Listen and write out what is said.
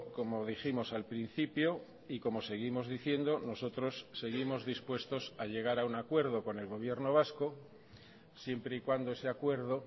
como dijimos al principio y como seguimos diciendo nosotros seguimos dispuestos a llegar a un acuerdo con el gobierno vasco siempre y cuando ese acuerdo